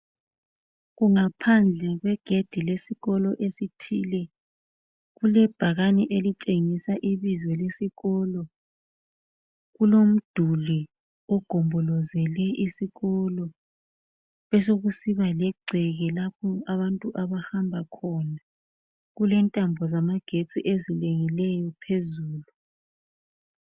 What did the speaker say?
Kungaphandle kwegedi lesikolo esithile kulebhakane elitshengisa ibizo lesikolo. Kulomduli ogombolozele isikolo, besokusiba legceke lapho abantu abahamba khona. Kulentambo zamagetsi ezilengileyo phezulu.